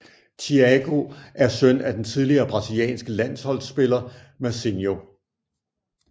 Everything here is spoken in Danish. Thiago er søn af den tidligere brasilianske landsholdspiller Mazinho